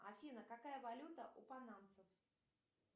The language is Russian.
афина какая валюта у панамцев